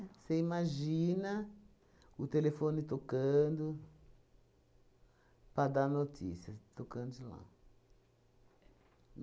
Você imagina o telefone tocando para dar notícia, tocando de lá.